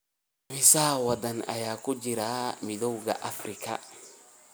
Imisa waddan ayaa ku jira Midowga Afrika?